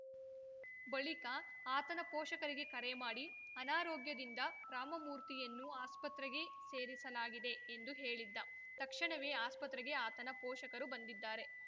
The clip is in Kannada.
ಬಳಿಕ ಆತನ ಪೋಷಕರಿಗೆ ಕರೆ ಮಾಡಿ ಅನಾರೋಗ್ಯದಿಂದ ರಾಮಮೂರ್ತಿಯನ್ನು ಆಸ್ಪತ್ರೆಗೆ ಸೇರಿಸಲಾಗಿದೆ ಎಂದು ಹೇಳಿದ್ದ ತಕ್ಷಣವೇ ಆಸ್ಪತ್ರೆಗೆ ಆತನ ಪೋಷಕರು ಬಂದಿದ್ದಾರೆ